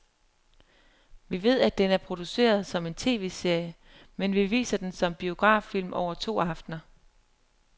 Vi ved, at den er produceret som en tv-serie, men vi viser den som biograffilm over to aftener.